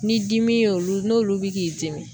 Ni dimi y'olu, n'olu be k'i dimi